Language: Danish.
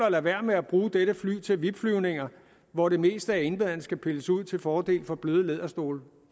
at lade være med at bruge dette fly til vip flyvninger hvor det meste af indmaden skal pilles ud til fordel for bløde læderstole